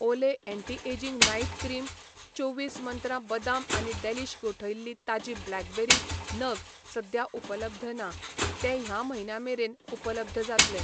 ओले anti ageing night cream, चोवीस मंत्रा बदाम आनी डॅलीश गोठयल्लीं ताजीं ब्लॅकबेरी नग सद्या उपलब्ध ना, तें ह्या म्हयन्यां मेरेन उपलब्ध जातले.